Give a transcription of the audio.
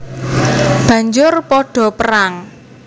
Banjur padha perang